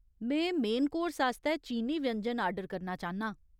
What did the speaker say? में main course आस्तै चीनी व्यंजन आर्डर करना चाह्न्नां।